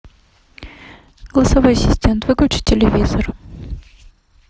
голосовой ассистент выключи телевизор